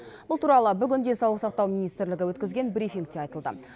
бұл туралы бүгін денсаулық сақтау министрлігі өткізген брифингте айтылды